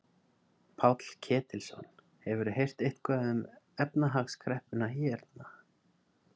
Páll Ketilsson: Hefurðu heyrt eitthvað um efnahagskreppuna hérna?